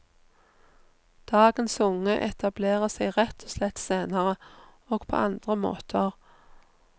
Dagens unge etablerer seg rett og slett senere, og på andre måter.